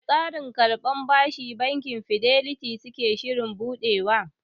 Wane tsarin karban bashi bankin fidelity suke shirin buɗewa?